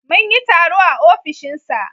Mun yi taro a ofishinsa.